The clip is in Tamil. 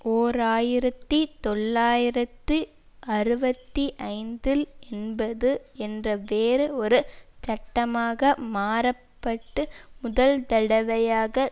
ஓர் ஆயிரத்தி தொள்ளாயிரத்து அறுபத்தி ஐந்தில் என்பது என்ற வேறு ஒரு சட்டமாக மாறப்பட்டு முதல்தடவையாக